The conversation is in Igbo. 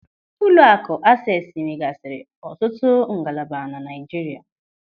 Ụlọakụ Ases nwegasiri ọtụtụ ngalaba na Naijiria.